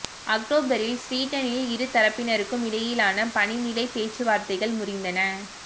அக்டோபரில் ஸ்வீடனில் இரு தரப்பினருக்கும் இடையிலான பணி நிலை பேச்சுவார்த்தைகள் முறிந்தன